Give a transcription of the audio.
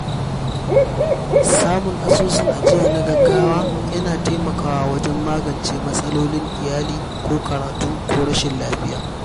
Samun asusun ajiya na gaugawa yana taimakawa wajen magance matsalolin iyali ko karatu ko rashin lafiya.